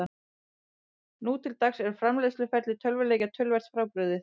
Nú til dags er framleiðsluferli tölvuleikja töluvert frábrugðið.